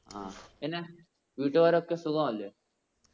ആ പിന്നെ വീട്ടുകാരൊക്കെ സുഖാവല്ലേ?